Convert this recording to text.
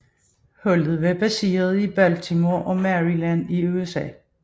Holdet var baseret i Baltimore i Maryland i USA